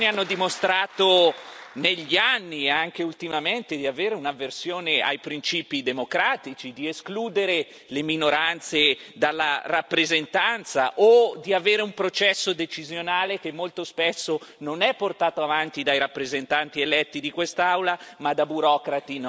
negli anni e anche ultimamente, di avere un'avversione ai principi democratici, di escludere le minoranze dalla rappresentanza o di avere un processo decisionale che molto spesso non è portato avanti dai rappresentanti eletti di quest'Aula ma da burocrati non eletti da nessuno.